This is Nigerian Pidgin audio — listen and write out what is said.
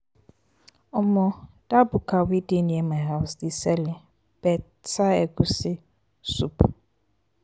um dat buka wey dey near my house dey sell um beta egusi um soup.